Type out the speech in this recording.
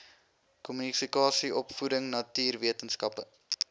kommunikasie opvoeding natuurwetenskappe